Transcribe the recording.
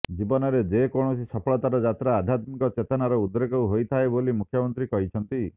ଜୀବନରେ ଯେକୌଣସି ସଫଳତାର ଯାତ୍ରା ଆଧ୍ୟାତ୍ମିକ ଚେତନାର ଉଦ୍ରେକରୁ ହୋଇଥାଏ ବୋଲି ମୁଖ୍ୟମନ୍ତ୍ରୀ କହିଛନ୍ତି